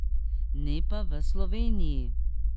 Ne pa v Sloveniji!